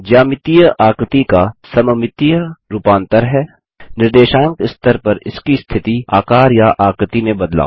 ज्यामितीय आकृति का सममितीय रूपांतर है निर्देशांक स्तर पर इसकी स्थिति आकार या आकृति में बदलाव